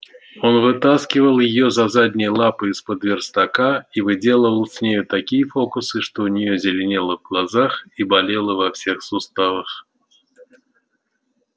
он вытаскивал её за задние лапы из-под верстака и выделывал с нею такие фокусы что у неё зеленело в глазах и болело во всех суставах